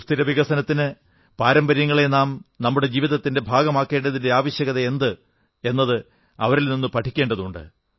സുസ്ഥിര വികസനത്തിന് പാരമ്പര്യങ്ങളെ നാം നമ്മുടെ ജീവിതത്തിന്റെ ഭാഗമാക്കേണ്ടതിന്റെ ആവശ്യകതയെന്ത് എന്നത് അവരിൽ നിന്ന് പഠിക്കേണ്ടതുണ്ട്